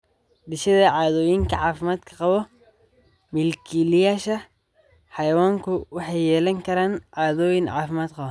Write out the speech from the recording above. Dhisida caadooyinka caafimaadka qaba Milkiilayaasha xayawaanku waxay yeelan karaan caadooyin caafimaad qaba.